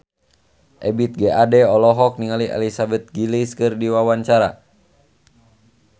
Ebith G. Ade olohok ningali Elizabeth Gillies keur diwawancara